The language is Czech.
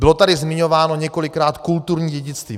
Bylo tady zmiňováno několikrát kulturní dědictví.